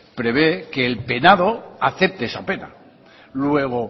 prevé que el penado acepte esa pena luego